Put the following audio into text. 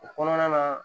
O kɔnɔna na